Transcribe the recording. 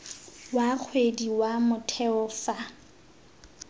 wa kgwedi wa motheo fa